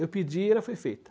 Eu pedi e ela foi feita.